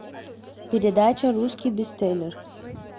передача русский бестселлер